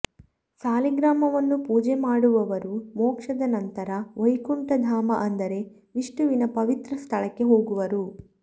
ಸಾಲಿಗ್ರಾಮವನ್ನು ಪೂಜೆ ಮಾಡುವವರು ಮೋಕ್ಷದ ನಂತರ ವೈಕುಂಠ ಧಾಮ ಅಂದರೆ ವಿಷ್ಣುವಿನ ಪವಿತ್ರ ಸ್ಥಳಕ್ಕೆ ಹೋಗುವರು